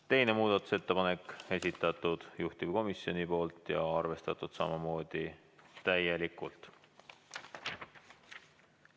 Teine muudatusettepanek, esitanud juhtivkomisjon ja arvestatud samamoodi täielikult.